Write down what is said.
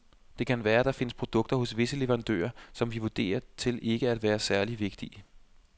Det kan være, der findes produkter hos visse leverandører, som vi vurderer til ikke at være særlig vigtige.